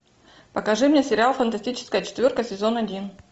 покажи мне сериал фантастическая четверка сезон один